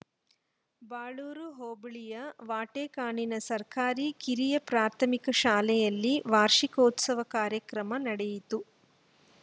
ಬಾಳೂರು ಹೋಬಳಿಯ ವಾಟೇಕಾನಿನ ಸರ್ಕಾರಿ ಕಿರಿಯ ಪ್ರಾಥಮಿಕ ಶಾಲೆಯಲ್ಲಿ ವಾರ್ಷಿಕೋತ್ಸವ ಕಾರ್ಯಕ್ರಮ ನಡೆಯಿತು